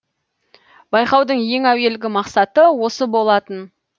байқаудың ең әуелгі мақсаты осы болатын